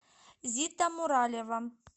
зита муралева